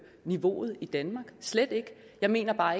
lønniveauet i danmark slet ikke jeg mener bare